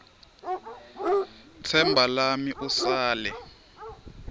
tsemba lami usale